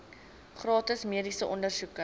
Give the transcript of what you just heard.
gratis mediese ondersoeke